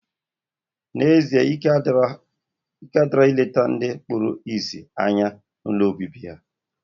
Na, ezie ike adiro ya ileta ndi kpuru isi anya ha ụlọ obibi ha.